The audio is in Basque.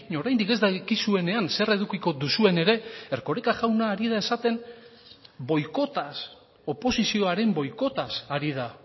oraindik ez dakizuenean zer edukiko duzuen ere erkoreka jauna ari da esaten boikotaz oposizioaren boikotaz ari da